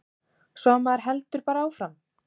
Svo maður heldur bara áfram.